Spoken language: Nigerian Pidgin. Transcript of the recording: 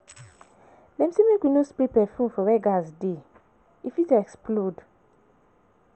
Dem sey make we no spray perfume where gas dey, e fit explode.